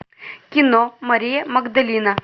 кино мария магдалина